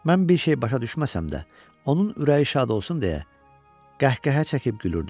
Mən bir şey başa düşməsəm də, onun ürəyi şad olsun deyə qəhqəhə çəkib gülürdüm.